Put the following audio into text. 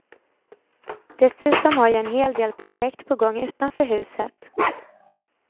Dessutom har jag en hel del projekt på gång utanför huset.